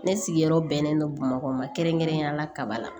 Ne sigiyɔrɔ bɛnnen don bamakɔ ma kɛrɛnkɛrɛnnenyala kaba la